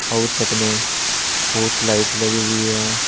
और छत पे बहुत लाइट लगी हुई है।